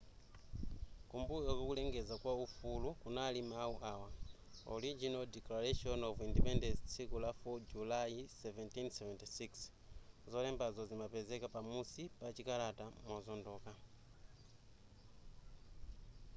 kumbuyo kwa kulengeza kwa ufulu kunali mawu awa original declaration of independence tsiku la 4 julayi 1776 zolembazo zimapezeka pa musi pa chikalata mozondoka